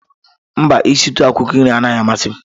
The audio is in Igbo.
Mba, isitu akwụkwọ nri anaghị amasị m.